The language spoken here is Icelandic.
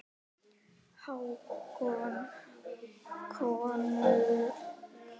Hákon konung.